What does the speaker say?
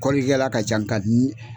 Kɔlili kɛla ka ca nka